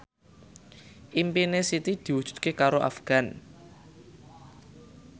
impine Siti diwujudke karo Afgan